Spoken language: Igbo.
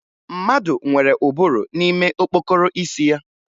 Mmadụ nwere ụbụrụ n'ime okpokoro isi ya